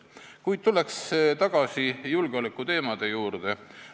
Kuid tulen tagasi julgeolekuteemade juurde.